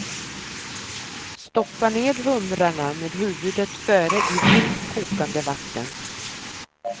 Stoppa ned humrarna med huvudet före i vilt kokande vatten.